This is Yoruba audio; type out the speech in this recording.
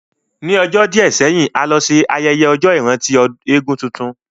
Ní ọjọ́ díẹ̀ sẹ́yìn, a lọ ṣe ayẹyẹ ọjọ́ ìrántí eégún tuntun